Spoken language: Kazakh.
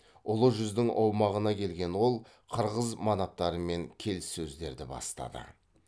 ұлы жүздің аумағына келген ол қырғыз манаптарымен келіссөздерді бастады